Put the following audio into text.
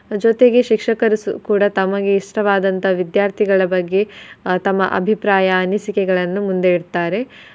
ಜೊತೆಗೆ ಶಿಕ್ಷಕರು ಸು~ ಕೂಡಾ ತಮಗೆ ಇಷ್ಟವಾದಂತಹ ವಿದ್ಯಾರ್ಥಿಗಳ ಬಗ್ಗೆ ಆಹ್ ತಮ್ಮ ತಮ್ಮ ಅಭಿಪ್ರಾಯ ಅನಿಸಿಕೆಗಳನ್ನು ಮುಂದೆ ಇಡ್ತಾರೆ.